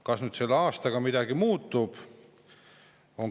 Kas nüüd selle aastaga midagi muutub?